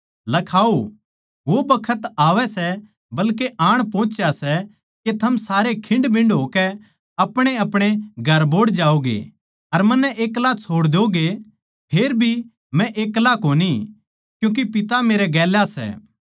लखाओ वो बखत आवै सै बल्के आण पहोंच्या सै के थम सारे खिंडमिन्ड होकै अपणेअपणे घर बोहड़ जाओगे अर मन्नै एक्ला छोड़ दोगे फेरभी मै एक्ला कोनी क्यूँके पिता मेरै गेल्या सै